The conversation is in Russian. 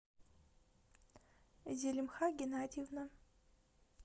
зелимха геннадьевна